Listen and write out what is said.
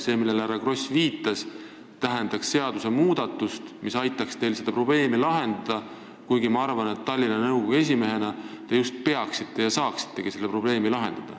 See, millele härra Kross viitas, tähendaks seadusmuudatust, mis aitaks teil seda probleemi lahendada, kusjuures ma arvan, et Tallinna nõukogu esimehena te just peaksite ja saaksitegi seda probleemi lahendada.